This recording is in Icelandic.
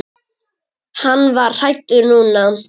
Hann var hræddur núna.